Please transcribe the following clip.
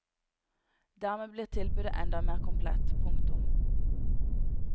Dermed blir tilbudet enda mer komplett. punktum